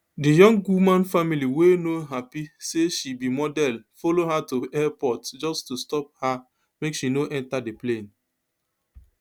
di young woman family wey no happy say she be model follow her to airport just to stop her make she no enta di plane